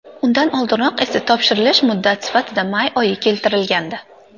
Undan oldinroq esa topshirilish muddat sifatida may oyi keltirilgandi .